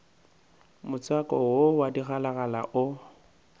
motswako wo wa digalagala o